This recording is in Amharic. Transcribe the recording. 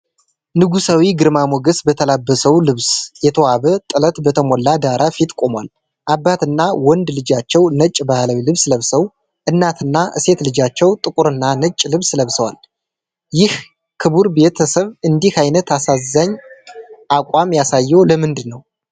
ንጉሣዊ ግርማ ሞገስ በተላበሰው ልብስ የተዋበ ጥለት በተሞላ ዳራ ፊት ቆሟል። አባትና ወንድ ልጃቸው ነጭ ባህላዊ ልብስ ለብሰው፣ እናትና ሴት ልጃቸው ጥቁርና ነጭ ልብስ ለብሰዋል፤ ይህ ክቡር ቤተሰብ እንዲህ አይነት አሳዛኝ አቋም ያሳየው ለምንድን ነው?